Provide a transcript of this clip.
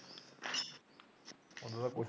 ਉਹ ਤਾਂ ਕੋਠੀ